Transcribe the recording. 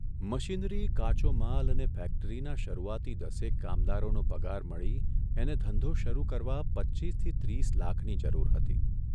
Machinery, કાચો માલ અને ફેક્ટરીના શરૂઆતી દસેક કામાદોરોનો પગાર મળી એને ધંધો શરૂ કરવા પચ્ચીસથી ત્રીસ લાખની જરૂર હતી.